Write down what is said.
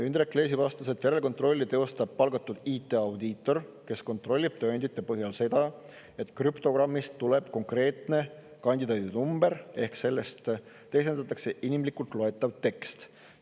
Indrek Leesi vastas, et järelkontrolli teostab palgatud IT-audiitor, kes kontrollib tõendite põhjal seda, et krüptogrammist tuleb konkreetne kandidaadi number, ehk sellest teisendatakse inimlikult loetav tekst.